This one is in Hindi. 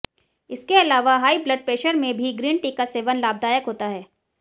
इसके अलावा हाई ब्लड प्रेशर में भी ग्रीन टी का सेवन लाभदायक होता है